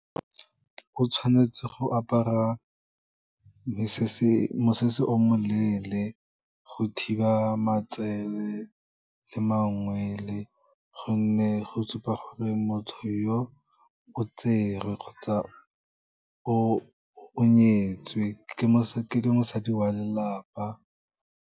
O tshwanetse go apara mosese o moleele, go thiba matsele le mangwele, gonne go supa gore motho yo o tserwe kgotsa o nyetswe, ke mosadi wa lelapa.